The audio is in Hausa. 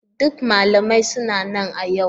Duk malamai suna nan a yau.